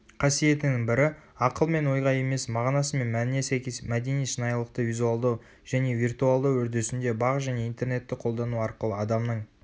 қасиетінің бірі ақыл мен ойға емес мағынасы мен мәніне сәйкес мәдени шынайылықты визуалдау және виртуалдау үрдісінде бақ және интернетті қолдану арқылы адамның